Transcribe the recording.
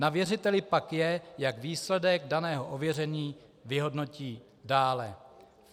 Na věřiteli pak je, jak výsledek daného ověření vyhodnotí dále.